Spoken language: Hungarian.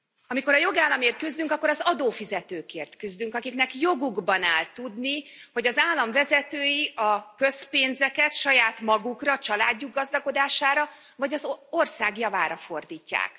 Amikor a jogállamért küzdünk, akkor az adófizetőkért küzdünk, akiknek jogukban áll tudni, hogy az állam vezetői a közpénzeket saját magukra, családjuk gazdagodására, vagy az ország javára fordítják.